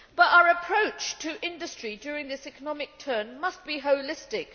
Our approach to industry during this economic downturn must be holistic.